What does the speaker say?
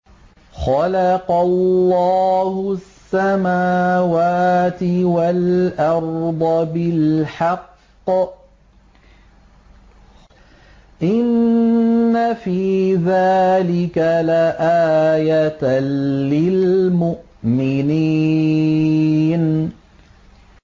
خَلَقَ اللَّهُ السَّمَاوَاتِ وَالْأَرْضَ بِالْحَقِّ ۚ إِنَّ فِي ذَٰلِكَ لَآيَةً لِّلْمُؤْمِنِينَ